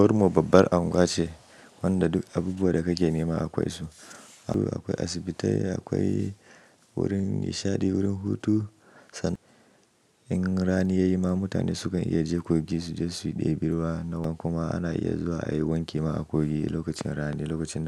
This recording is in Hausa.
Unguwari babban anguwa ce wanda duk abubuwan da kake nema akwai su. Akwai asibiti, akwai wurin nishaɗi, wurin hutu. San in rani yayi ma mutane sukan iya je kogi su ɗebi ruwa. Kuma ana iya zuwa ai wanki ma a kogi lokacin rani da lokacin.